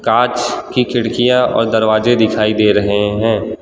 कांच की खिड़कियां और दरवाजे दिखाई दे रहे हैं।